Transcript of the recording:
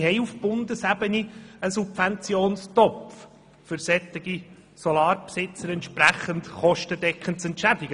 Wir haben auf Bundesebene einen entsprechenden Subventionstopf, um solche Anlagenbesitzer entsprechend kostendeckend zu entschädigen.